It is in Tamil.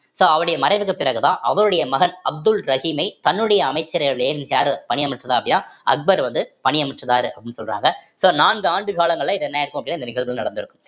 so அவருடைய மறைவுக்கு பிறகுதான் அவருடைய மகன் அப்துல் ரஹீமை தன்னுடைய அமைச்சரவையிலே பணி அமைச்சதா அப்படியா அக்பர் வந்து பணி அமைச்சதாரு அப்படின்னு சொல்றாங்க so நான்கு ஆண்டு காலங்கள்ல இது என்ன ஆயிருக்கும் அப்படின்னா இந்த நிகழ்வு நடந்திருக்கும்